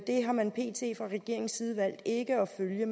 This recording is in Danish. har man pt fra regeringens side valgt ikke at følge